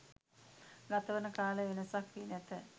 ගත වන කාලය වෙනසක් වී නැත.